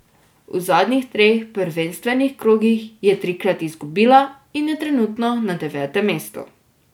V zadnjih treh prvenstvenih krogih je trikrat izgubila in je trenutno na devetem mestu.